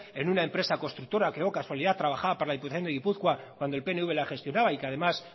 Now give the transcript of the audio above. en una empresa constructora que casualidad trabajaba para la diputación de gipuzkoa cuando el pnv la gestionaba y que además